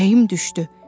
Ürəyim düşdü.